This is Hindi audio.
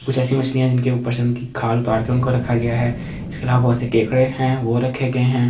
कुछ ऐसी मछलियाँ जिनके उपर से उनकी खाल उतार के उनको रखा गया है इसके इलावा बहुत से केकड़े है वो रखे गए हैं।